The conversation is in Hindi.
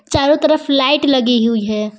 चारों तरफ लाइट लगी हुई है।